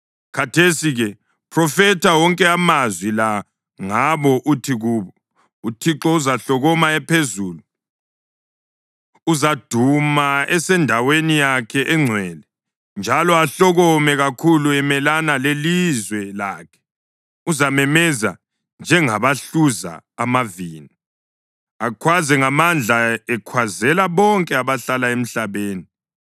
Khathesi-ke phrofetha wonke amazwi la ngabo uthi kubo: ‘ UThixo uzahlokoma ephezulu; uzaduma esendaweni yakhe engcwele, njalo ahlokome kakhulu emelana lelizwe lakhe. Uzamemeza njengabahluza amavini, akhwaze ngamandla ekhwazela bonke abahlala emhlabeni.